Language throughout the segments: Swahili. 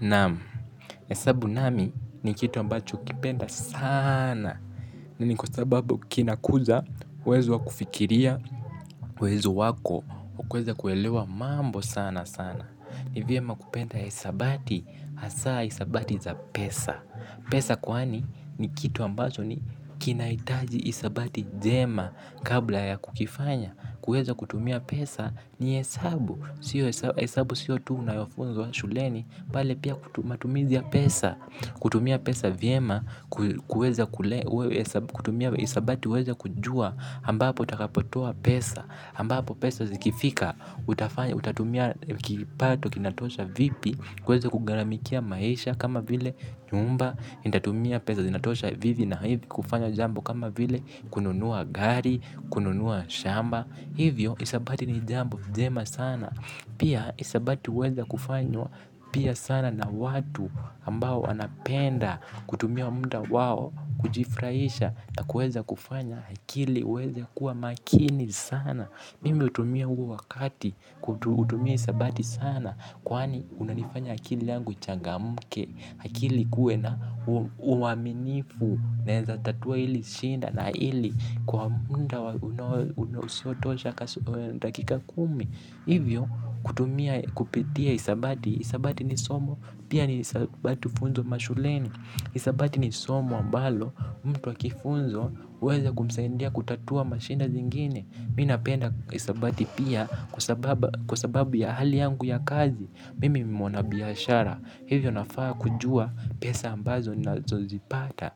Naam, hesabu nami ni kitu ambacho hukipenda sana mimi kwa sababu kinakuza uwezo wa kufikiria, uwezo wako wa kuweza kuelewa mambo sana sana ni vyema kupenda hisabati, hasa hisabati za pesa pesa kwani ni kitu ambacho ni kinahitaji hisabati njema kabla ya kukifanya kuweza kutumia pesa ni hesabu sio hesabu sio tu unayofunzwa wa shuleni bali pia matumizi ya pesa kutumia pesa vyema kuweza kule kutumia hisabati uweze kujua ambapo utakapotoa pesa ambapo pesa zikifika utatumia kipato kinatosha vipi kuweza kugharamikia maisha kama vile nyumba nitatumia pesa zinatosha vivi na hivi kufanya jambo kama vile kununua gari kununua shamba hivyo hisabati ni jambo njema sana pia hisabati huweza kufanywa pia sana na watu ambao wanapenda kutumia muda wao kujifurahisha na kuweza kufanya akili uweze kuwa makini sana mimi hutumia huo wakati kutumia hisabati sana kwani unanifanya akili yangu uchangamke akili ikuwe na uaminifu naeza tatua hili shida na hili kwa muda unaosotosha dakika kumi hivyo kutumia kupitia hisabati hisabati ni somo pia ni hisabati hufunzwa mashuleni hisabati ni somo ambalo mtu akifunzwa huweza kumsaidia kutatua mashida zingine mimi napenda hisabati pia kwa sababu ya hali yangu ya kazi mimi ni mwana biashara hivyo nafaa kujua pesa ambazo na zipata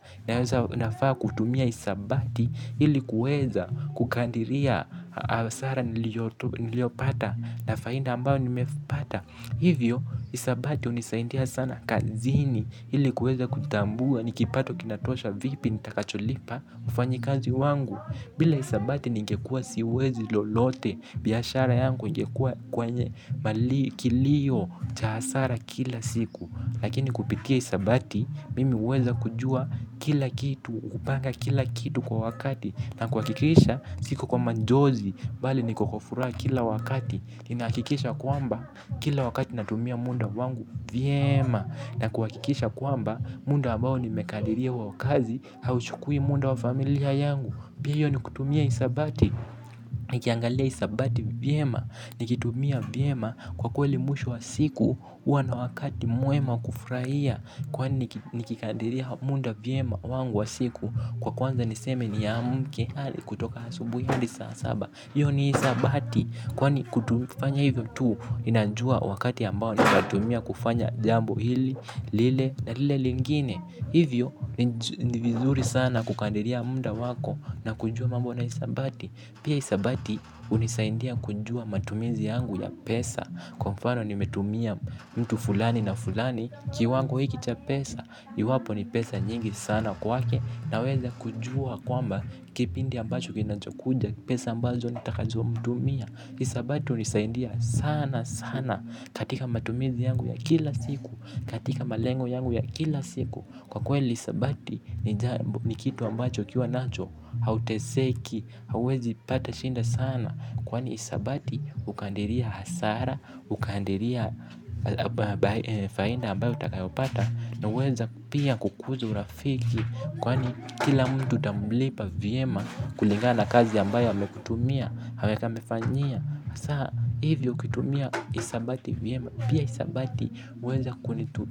nafaa kutumia hisabati ili kuweza kukadiria hasara niliyopata na faida amabayo nimepata hivyo hisabati hunisaidia sana kazini ili kuweza kutambua ni kipato kinatosha vipi nitakacholipa mfanyikazi wangu. Bila hisabati ningekuwa siwezi lolote biashara yangu ingekuwa kwenye kilio cha hasara kila siku lakini kupitia hisabati, mimi huweza kujua kila kitu, kupanga kila kitu kwa wakati na kuhakikisha, siku kwa majozi, bali niko kwa furaha kila wakati inahakikisha kwamba, kila wakati natumia muda wangu, vyema na kuhakikisha kwamba, muda ambao nimekadiriwa wa kazi, hauchukui muda wa familia yangu pia hiyo ni kutumia hisabati, nikiangalia hisabati, vyema nikitumia vyema kwa kweli mwisho wa siku huwa na wakati mwema wa kufurahia kwani nikikadiria muda vyema wangu wa siku kwa kwanza niseme niamke hali kutoka asubuhi adi saa saba hiyo ni hisabati kwani kufanya hivyo tu ninajua wakati ambao ninatumia kufanya jambo hili, lile na lile lingine hivyo ni vizuri sana kukadiria muda wako na kujua mambo na hisabati pia hisabati hunisaidia kujua matumizi yangu ya pesa kwa mfano nimetumia mtu fulani na fulani kiwango hiki cha pesa iwapo ni pesa nyingi sana kwake naweza kujua kwamba kipindi ambacho kinachokuja pesa ambazo nitakazo mtumia hisabati hunisaidia sana sana katika matumizi yangu ya kila siku katika malengo yangu ya kila siku kwa kweli hisabati ni kitu ambacho ukiwa nacho hauteseki. Hauwezi pata shida sana kwani hisabati hukadiria hasara hukadiria faida ambayo utakayopata na huweza pia kukuza urafiki kwani kila mtu utamlipa vyema kulingana na kazi ambayo amekutumia hameka amefanyia sa hivyo ukitumia hisabati vyema pia hisabati huweza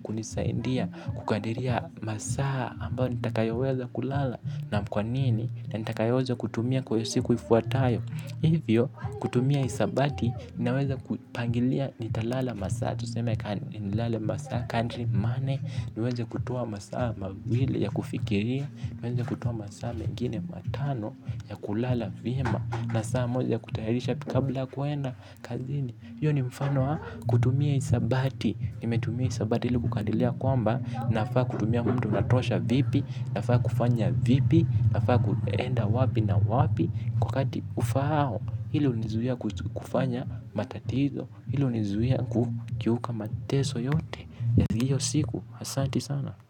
kunisaidia kukadiria masaa ambayo nitakayoweza kulala na kwanini na nitakayoweza kutumia kwa siku ifuatayo hivyo kutumia hisabati ninaweza kupangilia nitalala masaa tuseme nilale masaa country money niweze kutoa masaa mawili ya kufikiria niweze kutoa masaa mengine matano ya kulala vyema na saa moja ya kutayarisha kabla ya kuenda kazini hiyo ni mfano wa kutumia hisabati nimetumia hisabati li kukadiria kwamba nafaa kutumia mtu natosha vipi nafaa kufanya vipi nafaa kuenda wapi na wapi kwa wakati ufaao hili hunizuia kufanya matatizo hili hunizuia kukiuka mateso yote ya hiyo siku asanti sana.